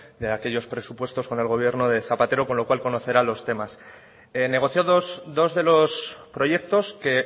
de aquellos presupuestos con el gobierno de zapatero con lo cual conocerá los temas negociados dos de los proyectos que